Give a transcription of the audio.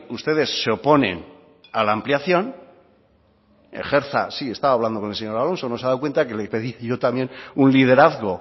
ustedes se oponen a la ampliación sí estaba hablando con el señor alonso no se ha dado cuenta que le pedí yo también un liderazgo